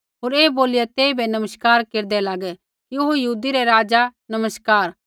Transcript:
होर ऐ बोलिया तेइबै नमस्कार केरदै लागै कि ओ यहूदी रै राज़ा नमस्कार